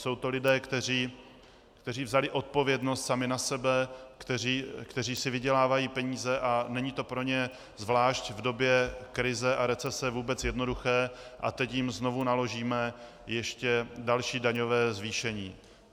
Jsou to lidé, kteří vzali odpovědnost sami na sebe, kteří si vydělávají peníze, a není to pro ně zvlášť v době krize a recese vůbec jednoduché, a teď jim znovu naložíme ještě další daňové zvýšení.